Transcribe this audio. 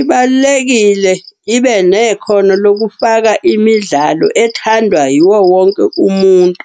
Ibalulekile, ibe nekhono lokufaka imidlalo ethandwa yiwo wonke umuntu.